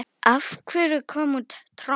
Af hverju kom út tromp?